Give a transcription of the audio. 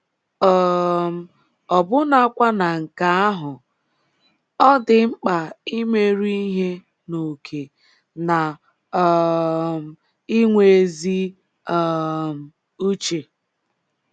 um Ọbụnakwa na nke ahụ, ọ dị mkpa imeru ihe n’ókè na um inwe ezi um uche.